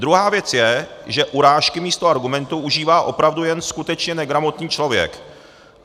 Druhá věc je, že urážky místo argumentů užívá opravdu jen skutečně negramotný člověk.